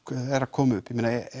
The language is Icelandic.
koma upp